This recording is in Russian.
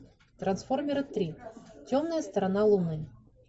трансформеры три темная сторона луны